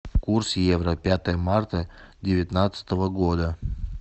курс евро пятое марта девятнадцатого года